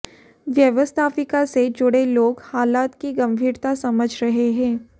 व्यवस्थापिका से जुड़े लोग हालात की गंभीरता समझ रहे हैं